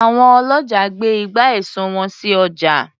Àwọn ọlọ́jà gbé ìgbà èso sì ọjà.